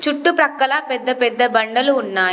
చుట్టూ ప్రక్కల పెద్ద పెద్ద బండలు ఉన్నాయి.